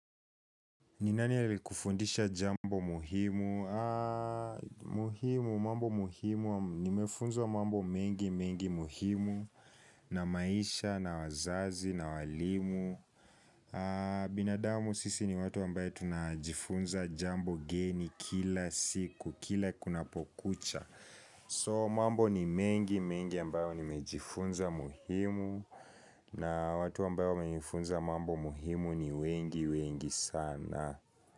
Ni nani aliyekufundisha jambo muhimu? Muhimu, mambo muhimu, nimefunza mambo mengi mengi muhimu na maisha na wazazi na walimu binadamu sisi ni watu ambayo tunajifunza jambo geni kila siku, kila kuna pokucha So mambo ni mengi mengi ambayo nimejifunza muhimu na watu ambayo wamenifunza mambo muhimu ni wengi wengi sana.